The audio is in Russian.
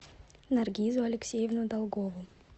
наргизу алексеевну долгову